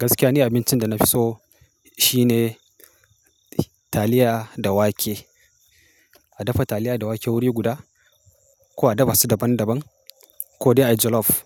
Gaskiya ni abincin da na fi so shine taliya da wake. A dafa taliya da wake wuri guda ko a daba su daban-daban ko dai a jolof.